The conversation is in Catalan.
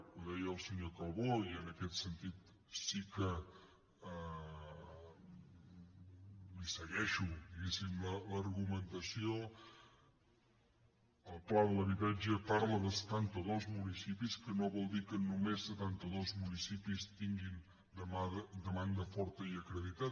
ho deia el senyor calbó i en aquest sentit sí que li segueixo diguéssim l’argumentació el pla de l’habitatge parla de setantados municipis que no vol dir que només setantados municipis tinguin demanda forta i acreditada